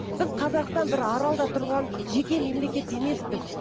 біз қазақстан бір аралда тұрған жеке мемлекет емеспіз